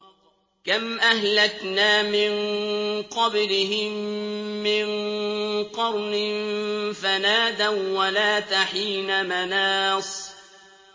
كَمْ أَهْلَكْنَا مِن قَبْلِهِم مِّن قَرْنٍ فَنَادَوا وَّلَاتَ حِينَ مَنَاصٍ